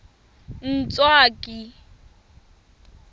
ntswaki